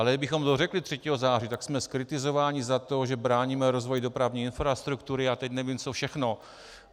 Ale kdybychom to řekli 3. září, tak jsme zkritizováni za to, že bráníme rozvoji dopravní infrastruktury a teď nevím, co všechno.